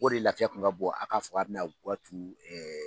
O de laafiya kun ka bon a ka fɔ k'a bɛna guwa turu